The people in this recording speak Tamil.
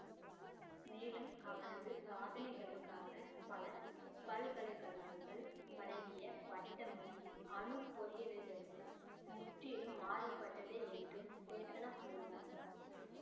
மேலும் அவரது சாதனைகளுக்காக பல பல்கலை கழகங்கள் வழங்கிய பட்டமும் அணுப் பொறியியலிலிருந்து முற்றிலும் மாறுபட்டது என்றும் சேத்தனா கூறினார்